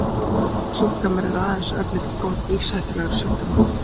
Ofantaldir sjúkdómar eru aðeins örlítið brot lífshættulegra sjúkdóma.